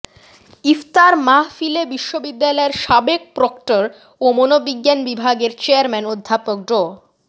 ইফতার মাহফিলে বিশ্ববিদ্যালয়ের সাবেক প্রক্টর ও মনোবিজ্ঞান বিভাগের চেয়ারম্যান অধ্যাপক ড